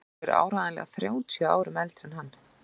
Hún er áreiðanlega þrjátíu árum eldri en hann!